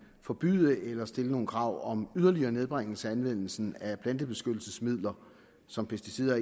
forbyde eller stille nogle krav om yderligere nedbringelse af anvendelsen af plantebeskyttelsesmidler som pesticider